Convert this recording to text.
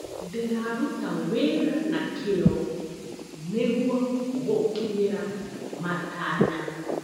Ndĩraruta wĩra na kĩo nĩguo gũkinyĩra matanya.